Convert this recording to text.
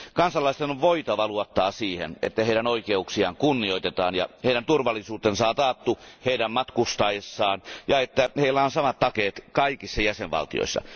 Kansalaisten on voitava luottaa siihen, että heidän oikeuksiaan kunnioitetaan ja heidän turvallisuutensa on taattu heidän matkustaessaan ja että heillä on samat takeet kaikissa jäsenvaltioissa.